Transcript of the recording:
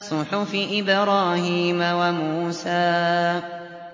صُحُفِ إِبْرَاهِيمَ وَمُوسَىٰ